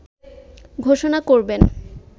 ঘোষণা করবেন